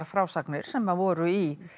frásagnir sem voru í